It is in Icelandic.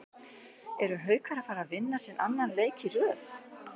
ERU HAUKAR AÐ FARA AÐ VINNA SINN ANNAN LEIK Í RÖÐ???